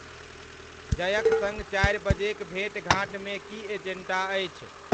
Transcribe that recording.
जयक सङ्ग चारि बजेक भेंट घाँट मे की एजेन्डा अछि?